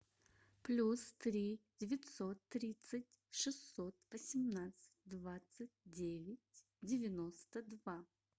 плюс три девятьсот тридцать шестьсот восемнадцать двадцать девять девяносто два